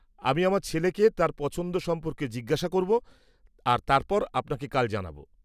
আমি আমার ছেলেকে তার পছন্দ সম্পর্কে জিজ্ঞেস করব আর তারপর আপনাকে কাল জানাব।